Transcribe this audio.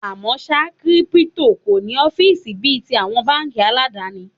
À mọ́ ṣá, Kírípútò kò ní ọ́fíìsì bí i ti àwọn báńkì aládàni.